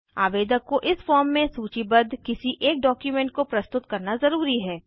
आवेदक को इस फॉर्म में सूचीबद्ध किसी एक डॉक्युमेंट को प्रस्तुत करना ज़रूरी है